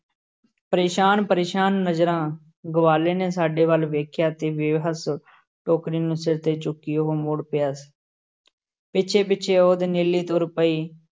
ਪਰੇਸ਼ਾਨ ਪਰੇਸ਼ਾਨ ਨਜ਼ਰਾਂ ਗਵਾਲੇ ਨੇ ਸਾਡੇ ਵੱਲ ਵੇਖਿਆ ਤੇ ਬੇਵੱਸ ਟੋਕਰੀ ਨੂੰ ਸਿਰ ਤੇ ਚੁੱਕੀ ਉਹ ਮੁੜ ਪਿਆ ਪਿੱਛੇ-ਪਿੱਛੇ ਉਹਦੇ ਨੀਲੀ ਤੁਰ ਪਈ,